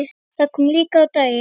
Það kom líka á daginn.